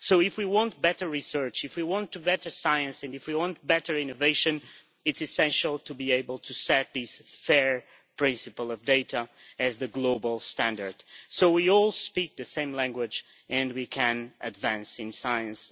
So if we want better research, if we want better science and if we want better innovation, it is essential to be able to set these fair principles of data as the global standard, so we all speak to same language and we can advance in science.